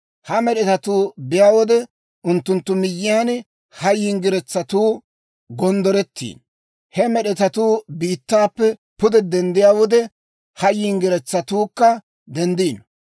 Ha med'etatuu biyaa wode, unttunttu miyyiyaan ha yinggiretsatuu gonddoretiino; he med'etatuu biittaappe pude denddiyaa wode, ha yinggiretsatuukka denddiino.